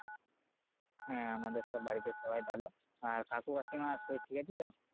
হ্যাঁ আমাদের সব বাড়িতে সবাই ভালো আর কাকু কাকিমার শরীর ঠিক আছে তো